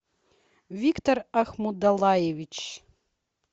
виктор ахмудаллаевич